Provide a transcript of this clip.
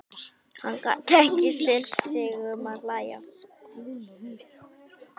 Hann gat ekki stillt sig um að hlæja.